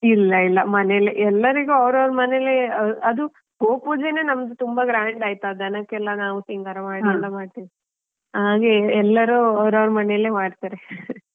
ಇಲ್ಲ ಇಲ್ಲಾ ಮನೇಲೆ ಎಲ್ಲರಿಗೂ ಅವ್ರವ್ರು ಮನೇಲಿ ಅ~ ಅದು ಗೋಪೂಜೆನೆ ನಮ್ದು ತುಂಬಾ grand ಆಯ್ತಾ ದನಕ್ಕೆಲ್ಲಾ ನಾವು ಸಿಂಗಾರ ಮಾಡಿ ಎಲ್ಲಾ ಮಾಡ್ತಿವಿ ಹಾಗೆಯೇ ಎಲ್ಲರೂ ಅವ್ರವ್ರ ಮನೆಯಲ್ಲಿ ಮಾಡ್ತಾರೆ .